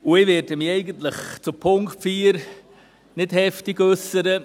Und ich werde mich eigentlich zum Punkt 4 nicht heftig äussern.